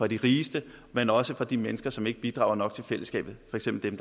de rigeste men også fra de mennesker som ikke bidrager nok til fællesskabet for eksempel